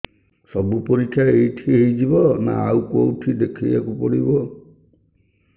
ସବୁ ପରୀକ୍ଷା ଏଇଠି ହେଇଯିବ ନା ଆଉ କଉଠି ଦେଖେଇ ବାକୁ ପଡ଼ିବ